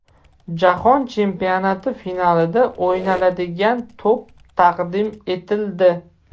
Jahon chempionati finalida o‘ynaladigan to‘p taqdim etildi.